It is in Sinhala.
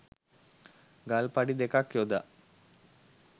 ගල් පඩි දෙකක් යොදා